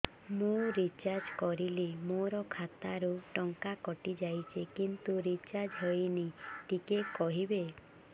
ମୁ ରିଚାର୍ଜ କରିଲି ମୋର ଖାତା ରୁ ଟଙ୍କା କଟି ଯାଇଛି କିନ୍ତୁ ରିଚାର୍ଜ ହେଇନି ଟିକେ କହିବେ